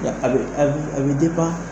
A bɛ a a bɛ